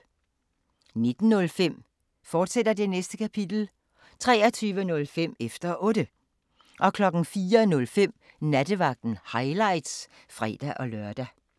19:05: Det Næste Kapitel, fortsat 23:05: Efter Otte 04:05: Nattevagten – highlights (fre-lør)